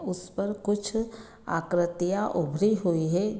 उस पर कुछ आकृतियाँ उभरी हुई है।